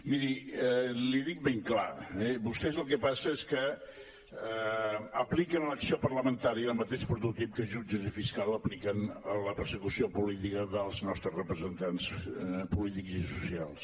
miri l’hi dic ben clar eh vostès el que passa és que apliquen a l’acció parlamentària el mateix prototip que jutges i fiscals apliquen a la persecució política dels nostres representants polítics i socials